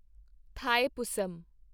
Thaipusam